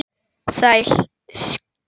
Þeir hlæja, skilja hvor annan.